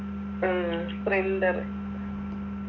ഉം printer